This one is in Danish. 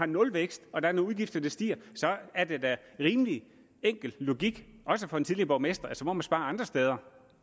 nulvækst og der er nogle udgifter der stiger er det da en rimelig enkel logik også for en tidligere borgmester at man så må spare andre steder